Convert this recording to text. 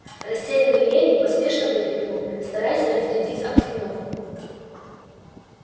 растерянный леви поспешно выкрикнул стараясь разрядить обстановку